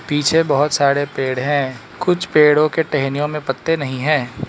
पीछे बहोत सारे पेड़ है कुछ पेड़ों के टहनियों में पत्ते नहीं है।